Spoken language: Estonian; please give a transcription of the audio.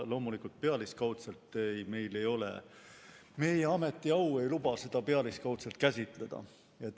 Loomulikult ei luba meie ametiau seda pealiskaudselt käsitleda.